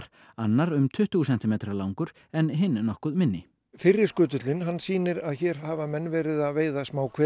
annar um tuttugu sentimetra langur en hinn nokkuð minni fyrri skutullinn hann sýnir að hér hafa menn verið að veiða